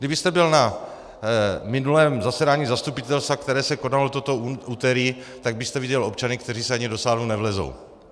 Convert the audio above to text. Kdybyste byl na minulém zasedání zastupitelstva, které se konalo toto úterý, tak byste viděl občany, kteří se ani do sálu nevejdou.